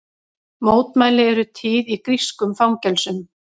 Mótmæli eru tíð í grískum fangelsum